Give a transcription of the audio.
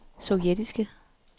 sovjetiske